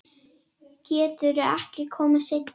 Geturðu ekki komið seinna?